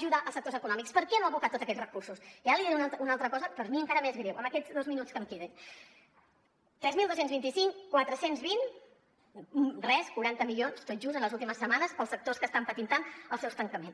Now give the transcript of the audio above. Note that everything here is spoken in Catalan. ajudar els sectors econòmics per què no ha abocat tots aquests recursos i ara li diré una altra cosa per mi encara més greu en aquests dos minuts que em queden tres mil dos cents i vint cinc quatre cents i vint res quaranta milions tot just en les últimes setmanes per als sectors que estan patint tant els seus tancaments